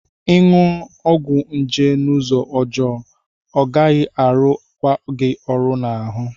Ị ṅụ ọgwụ nje n'ụzọ ọjọọ, ọ gaghị arụ kwa gị ọrụ n'ahụ.